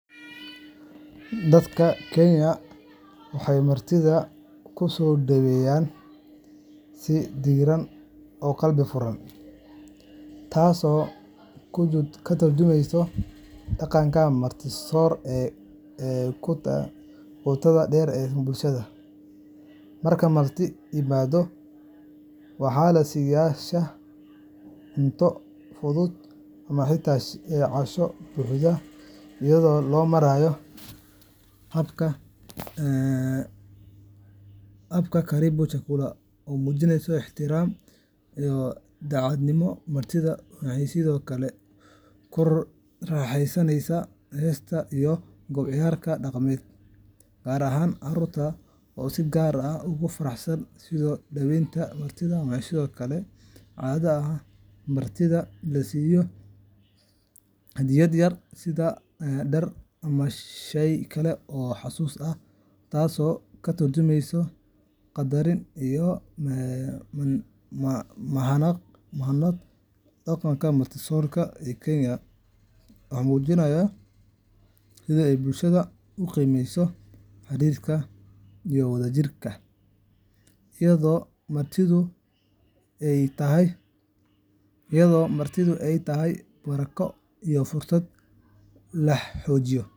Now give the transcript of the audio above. Dadka Kenya waxay martidooda ku soo dhaweeyaan si diirran oo qalbi furan, taasoo ka tarjumaysa dhaqanka marti-soor ee qotada dheer ee bulshada. Marka marti yimaaddo, waxaa la siiyaa shaah, cunto fudud, ama xitaa casho buuxda, iyadoo loo marayo habka karibu chakula oo muujinaya ixtiraam iyo daacadnimo. Martidu waxay sidoo kale ku raaxaysataa heeso iyo qoob-ka-ciyaar dhaqameed, gaar ahaan carruurta oo si gaar ah ugu faraxsan soo dhaweynta martida. Waxaa sidoo kale caado ah in martida la siiyo hadiyad yar sida dhar ama shay kale oo xusuus ah, taasoo ka tarjumaysa qadarin iyo mahadnaq. Dhaqankan marti-soor ee Kenya wuxuu muujinayaa sida ay bulshada u qiimeyso xiriirka iyo wada-jirka, iyadoo martidu ay tahay barako iyo fursad laa xoojiyo.